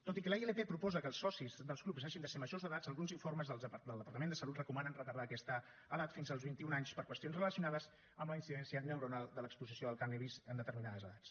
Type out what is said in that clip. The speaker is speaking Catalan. tot i que la ilp proposa que els socis dels clubs hagin de ser majors d’edat alguns informes del departament de salut recomanen retardar aquesta edat fins als vint i un anys per qüestions relacionades amb la incidència neuronal de l’exposició al cànnabis en determinades edats